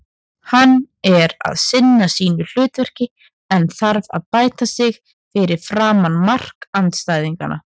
Hann er að sinna sínu hlutverki en þarf að bæta sig fyrir framan mark andstæðinganna.